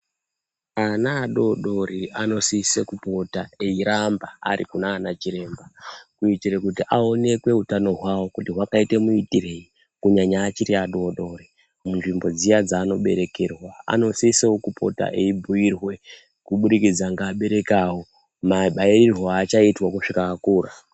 Ana adoodori anosise kupota eiramba arikunaana chiremba kuitire kuti aonekwe utano hwavo kuti hwakaita muitireyi kunyanya achiri adoodori, munzvimbo dziya dzaanoberekerwa. Anosisewo kupota eibhuirwe kubudikidza ngeabereki avo, mabairirwo aachaitwa kuzvika akura.